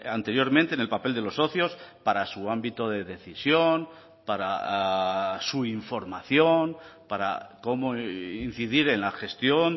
anteriormente en el papel de los socios para su ámbito de decisión para su información para cómo incidir en la gestión